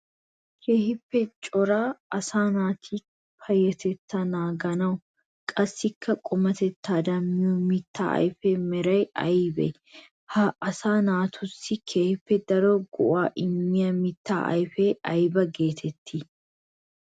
Keehippe cora asaa naati payyatetta naaganawunne qassikka qumatettawu miyo mitta ayfiya meray aybee? Ha asaa naatussi keehi daro go'aa immiya mitta ayfe aybba geetettii?